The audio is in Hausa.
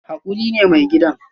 Hakuri ne mai gidan